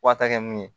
Wa ta kɛ mun ye